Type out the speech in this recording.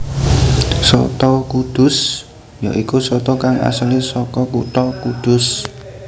Soto kudus ya iku soto kang asalé saka kutha Kudus